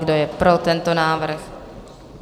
Kdo je pro tento návrh?